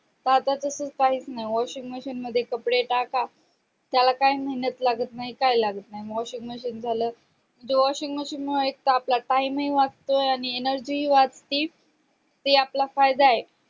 का आता तास काही नाही washing machine कपडे टाका त्याला काही मेहनत लागत नाही काय लागत नाय washing machine झाल washing machine मुळे आपला taime हि वाचतो आणि energy वाजती ते आपला फायदा आहे